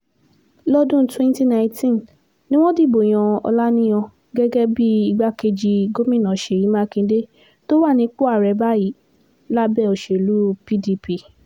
lọ́dún 2019 ni wọ́n dìbò yan ọlaniyan gẹ́gẹ́ bíi igbákejì gómìnà sèyí makinde tó wà nípò báyìí lábẹ́ òṣèlú pdp